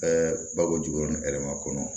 bako jugu yɛrɛ ma kɔnɔ